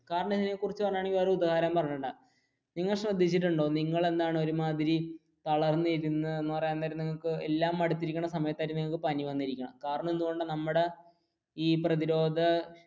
നിങ്ങൾ ശ്രദ്ധിച്ചിട്ടുണ്ടോ നിങ്ങളെന്താണു ഒരുമാതിരി തളർന്നിരുന്നു എന്ന് പറയാൻ നേരം എല്ലാം മടുത്തിരിക്കുന്ന സമയത്തായിരിക്കും പനി വന്നിരിക്കണ കാരണം എന്തുകൊണ്ടാണ് നമ്മുടെ ഈ പ്രധിരോധ